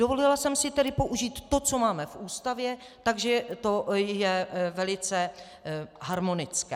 Dovolila jsem si tedy použít to, co máme v Ústavě, takže to je velice harmonické.